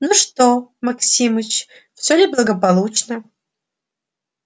ну что максимыч все ли благополучно